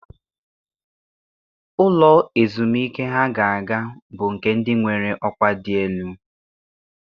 Ụlọ ezumike ha ga-aga bụ nke ndị nwere ọkwa dị elu.